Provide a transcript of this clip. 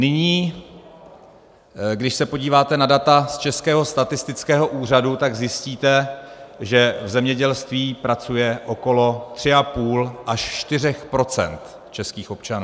Nyní, když se podíváte na data z Českého statistického úřadu, tak zjistíte, že v zemědělství pracuje okolo 3,5 - 4 % českých občanů.